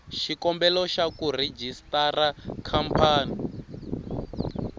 xikombelo xa ku rejistara khampani